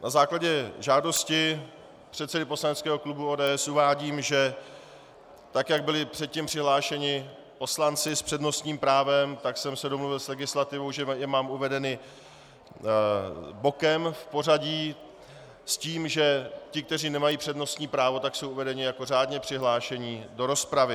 Na základě žádosti předsedy poslaneckého klubu ODS uvádím, že tak jak byli předtím přihlášeni poslanci s přednostním právem, tak jsem se domluvil s legislativou, že je mám uvedeny bokem v pořadí s tím, že ti, kteří nemají přednostní právo, tak jsou uvedeni jako řádně přihlášení do rozpravy.